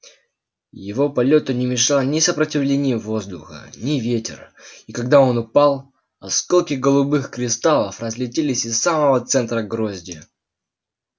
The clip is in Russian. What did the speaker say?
его полёту не мешало ни сопротивление воздуха ни ветер и когда он упал осколки голубых кристаллов разлетелись из самого центра грозди